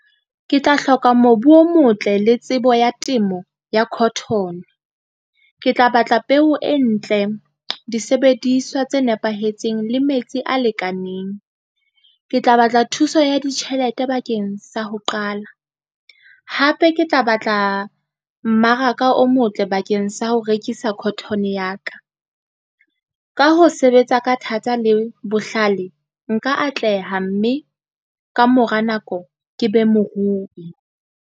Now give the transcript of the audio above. Ke tla hloka mobu o motle le tsebo ya temo ya cotton. Ke tla batla peo e ntle, disebediswa tse nepahetseng le metsi a lekaneng. Ke tla batla thuso ya ditjhelete bakeng sa ho qala, hape ke tla batla mmaraka o motle bakeng sa ho rekisa cotton ya ka. Ka ho sebetsa ka thata, le bohlale nka atleha, mme ka mora nako ke be morui.